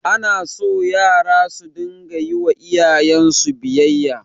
Anaso yara su dinga yiwa iyayensu biyayya